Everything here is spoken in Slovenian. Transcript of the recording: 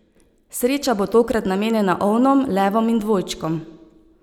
Sreča bo tokrat namenjena ovnom, levom in dvojčkom.